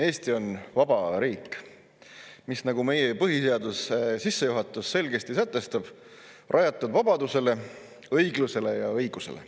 Eesti on vaba riik, mis on, nagu meie põhiseaduse sissejuhatus selgesti sätestab, rajatud vabadusele, õiglusele ja õigusele.